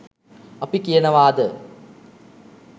අපි කියනවාද?